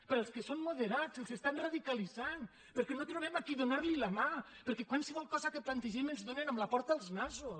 per als que són moderats els estan radicalitzant perquè no trobem a qui donar la mà perquè qualsevol cosa que plantegem ens donen amb la porta als nassos